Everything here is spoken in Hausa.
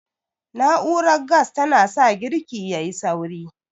Na'urar gas ta na sa girki yayi sauri